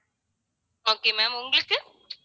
okay ma'am உங்களுக்கு